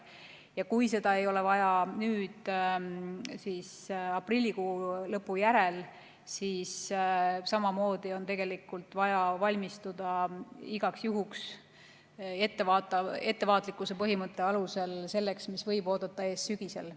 Ja kui seda ei ole vaja nüüd aprillikuu lõppedes, siis samamoodi on tegelikult vaja valmistuda igaks juhuks ettevaatlikkuse põhimõtte alusel selleks, mis võib oodata ees sügisel.